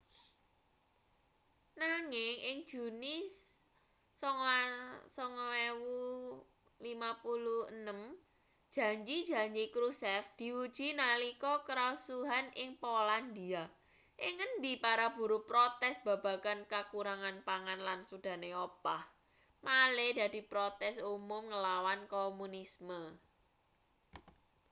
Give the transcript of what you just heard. nanging ing juni 1956 janji-janji krushchev diuji nalika karusuhan ing polandia ing ngendi para buruh protes babagan kakurangan pangan lan sudane opah malih dadi protes umum ngelawan komunisme